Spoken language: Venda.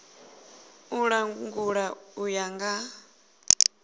u langula u ya nga